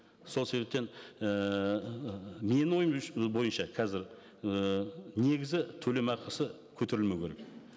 сол себептен ііі менің ойым бойынша қазір ііі негізі төлемақысы көтерілмеу керек